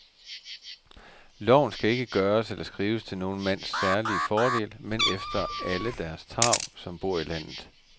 Loven skal ikke gøres eller skrives til nogen mands særlige fordel, men efter alle deres tarv, som bor i landet.